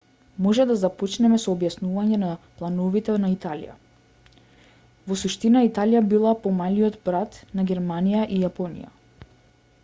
може да започнеме со објаснување за плановите на италија во суштина италија била помалиот брат на германија и јапонија